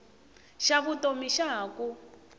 xa vutomi xa ha ku